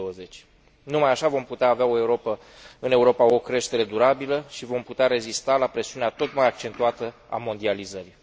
2020. Numai așa vom putea avea în Europa o creștere durabilă și vom putea rezista la presiunea tot mai accentuată a mondializării.